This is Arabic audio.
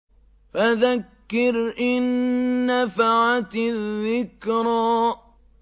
فَذَكِّرْ إِن نَّفَعَتِ الذِّكْرَىٰ